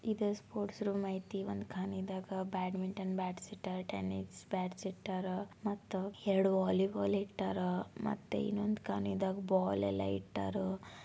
ಇದು ಒಂದು sports room ಐತಿ ಒಂದೂ ಖಾನಿದಾಗ ಬ್ಯಾಟ್ಮಿಟನ್ ಬ್ಯಾಟ್ಸ್ ಇಟ್ಟಾರ ಟೆನಿಸ್ ಬ್ಯಾಟ್ಸ್ ಇಟ್ಟಾರ ಮತ್ತು ಎರಡು ವಾಲಿ ಬಾಲ್ ಇಟ್ಟಾರ ಮತ್ತೆ ಇನ್ನೊಂದ್ ಖಾನಿದಾಗ ಬಾಲ್ ಯಲ್ಲಾ ಇಟ್ಟಾರ.